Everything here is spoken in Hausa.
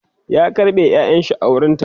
ya karɓe ƴaƴanshi a wurinta